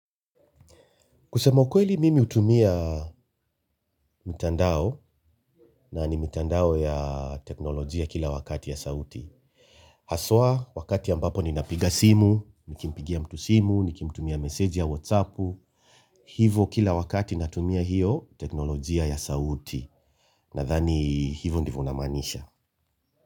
Kusema ukweli mimi hutumia mtandao na ni mtandao ya teknolojia kila wakati ya sauti. Hasa, wakati ambapo ninapiga simu, nikimpigia mtu simu, nikimtumia message ya whatsapp, hivyo kila wakati natumia hiyo teknolojia ya sauti. Nathani, hivyo ndivyo unamaanisha.